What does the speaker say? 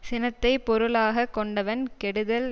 சினத்தை பொருளாக கொண்டவன் கெடுதல்